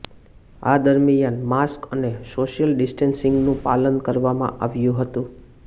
આ દરમિયાન માસ્ક અને સોશ્યલ ડિસ્ટેન્સિંગનું પાલન કરવામાં આવ્યુ હતુ